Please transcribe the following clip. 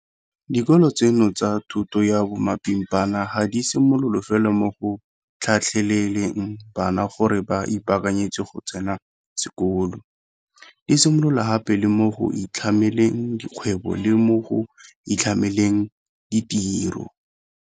Dikolo tseno tsa thuto ya bomapimpana ga di mosola fela mo go tlhatlheleleng bana gore ba ipaakanyetse go tsena sekolo, di mosola gape le mo go itlhameleng dikgwebo le mo go itlhameleng ditiro.